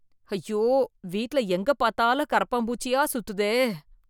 ஐயோ வீட்ல எங்க பாத்தாலும் கரப்பான் பூச்சியா சுத்துதே